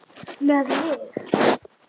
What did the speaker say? Með mig?